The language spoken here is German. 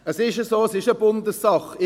Es ist so, es ist eine Bundessache.